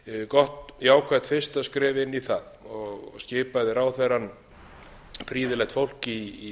gott jákvætt fyrsta skref inn í það skipaði ráðherrann prýðilegt fólk í